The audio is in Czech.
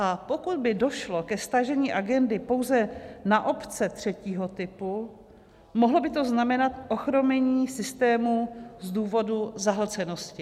A pokud by došlo ke stažení agendy pouze na obce třetího typu, mohlo by to znamenat ochromení systému z důvodu zahlcenosti.